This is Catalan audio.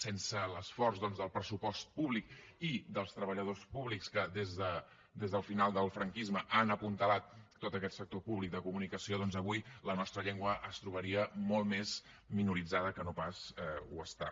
sense l’esforç doncs del pressupost públic i dels treballadors públics que des del final del franquisme han apuntalat tot aquest sector públic de comunicació avui la nostra llengua es trobaria molt més minoritzada que no pas ho està